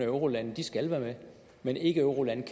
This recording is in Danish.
eurolande de skal være med mens ikkeeurolande